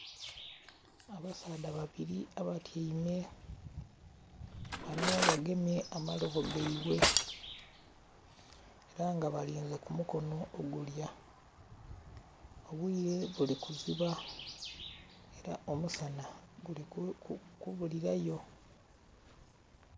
Abasaadha babiri abatyaime bano bagemye amalobo gebwe era nga balinze kumukono ogulya obwiire bulikuziba era omusana gulikubulira yo.